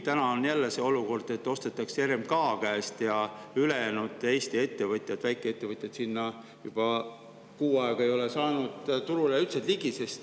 Täna on küll jälle see olukord, et ostetakse RMK käest ja ülejäänud Eesti ettevõtjad, väikeettevõtjad, juba kuu aega ei ole saanud sellele turule üldse ligi.